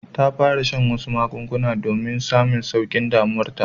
Ta fara shan wasu magungunan domin samun saukin damuwar ta.